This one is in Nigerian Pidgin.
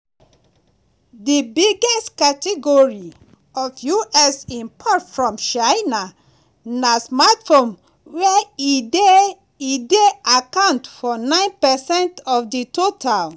di biggest category of us imports from china na smartphones e dey e dey account for 9 percent of di total.